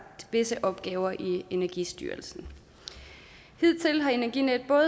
visse opgaver i energistyrelsen hidtil har energinet